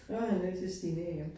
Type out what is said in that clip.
Så var han nødt til at stige ned igen